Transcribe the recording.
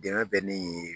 Dɛmɛ bɛ ne ye